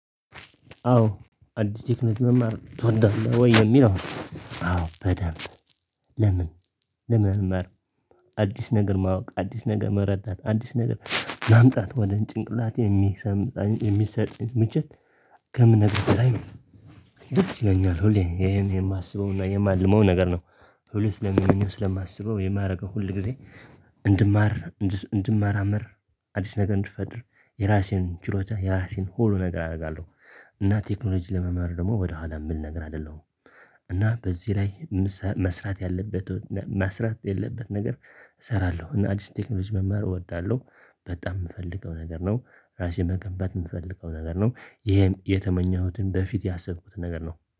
አዎ አዲስ ቴክኖሎጂ መማር ትወዳለህ ወይ የሚለው? አዎ በደንብ። ለምን ለምን መማር? አዲስ ነገር ማወቅ አዲስ ነገር መረዳት አዲስ ነገር ማምጣት ወደ ጭንቅላቴ የሚሰም የሚሰጥ ምችት። ከምነግርህ በላይ ደስ ይለኛል ሁሌ ይሄን የማስበውና የማልመው ነገር ነው። ሁሌ ስለሚሆነው ስለማስበው የማደርገው ሁል ጊዜ እንድማር እንድማራመር አዲስ ነገር እንድፈድር የራሴን ችሎታ የራሴን ሆሉ ነገር አደርጋለሁ። እና ቴክኖሎጂ ለመመር ደግሞ ወደኋላ የምል ነገር አይደለሁም። እና በዚህ ላይ መስራት ያለበት መስራት የለበት ነገር። እሰራለሁ እና አዲስ ቴክኖሎጂ መማር እወዳለሁ። በጣም የምፈልገው ነገር ነው። ራሴን መገንበያ የምፈልገው ነገር ነው። ይሄን የተመኘሁትን በፊት ያሰብኩት ነገር ነው